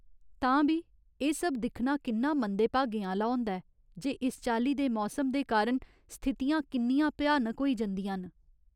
तां बी एह् सब दिक्खना किन्ना मंदें भागें आह्‌ला होंदा ऐ जे इस चाल्ली दे मौसम दे कारण स्थितियां किन्नियां भ्यानक होई जंदियां न ।